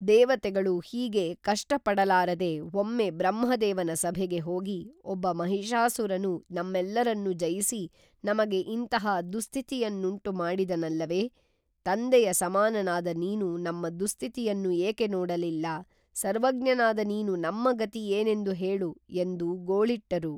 ದೇವತೆಗಳು ಹೀಗೆ ಕಷ್ಟ ಪಡಲಾರದೆ ಒಮ್ಮೆ ಬ್ರಹ್ಮದೇವನ ಸಭೆಗೆ ಹೋಗಿ ಒಬ್ಬ ಮಹಿಷಾಸುರನು ನಮ್ಮೆಲ್ಲರನ್ನೂ ಜಯಿಸಿ ನಮಗೆ ಇಂತಹ ದುಸ್ಥಿತಿಯನ್ನುಂಟು ಮಾಡಿದನಲ್ಲವೇ ತಂದೆಯ ಸಮಾನನಾದ ನೀನು ನಮ್ಮ ದುಸ್ಥಿತಿಯನ್ನು ಏಕೆ ನೋಡಲಿಲ್ಲ, ಸರ್ವಜ್ಞನಾದ ನೀನು ನಮ್ಮ ಗತಿ ಏನೆಂದು ಹೇಳು ಎಂದು ಗೋಳಿಟ್ಟರು